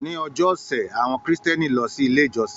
Ni ọjọ́ ọṣẹ, awọn Kristiani lọ si ile ijọsin